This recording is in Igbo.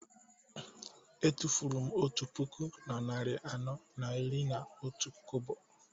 Etufuru m otu puku na narị anọ na iri na otu kobo